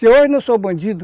Se hoje eu não sou bandido,